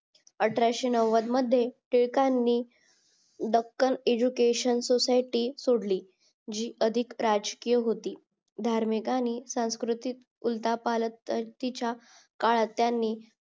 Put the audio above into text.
अठराशे नव्व्द मध्ये टिळकांनी दखल education सोसायटी सोडली जी अधिक राजकीय धार्मिकांनी सांस्कृतिक उलटापालतटीचा काळात त्यांनी